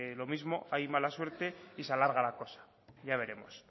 lo mismo hay mala suerte y se alarga la cosa ya veremos